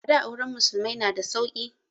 A da auren musulmai na da sauki